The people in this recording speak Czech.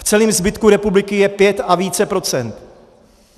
V celém zbytku republiky je 5 a více procent.